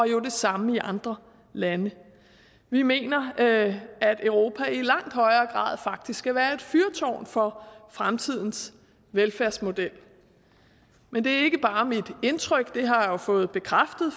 jo det samme i andre lande vi mener at europa i langt højere grad faktisk skal være et fyrtårn for fremtidens velfærdsmodel men det er ikke bare mit indtryk det har jeg jo fået bekræftet